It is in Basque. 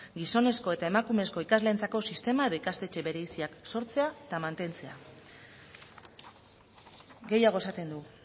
gizonezko eta emakumezko ikasleentzako sistema edo ikastetxe bereiziak sortzea eta mantentzea gehiago esaten du